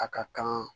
A ka kan